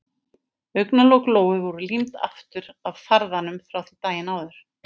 Augnalok Lóu voru límd aftur af farðanum frá því daginn áður.